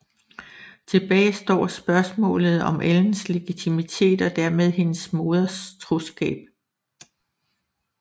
Tilbage står spørgsmålet om Ellens legitimitet og dermed hendes moders troskab